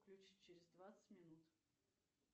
включи через двадцать минут